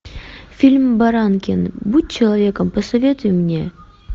фильм баранкин будь человеком посоветуй мне